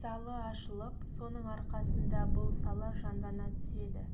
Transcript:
залы ашылып соның арқасында бұл сала жандана түседі